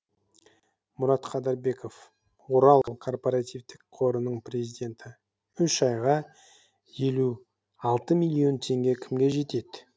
мұрат қадырбеков орал корпоративтік қорының президенті үш айға елу алты миллион теңге кімге жетеді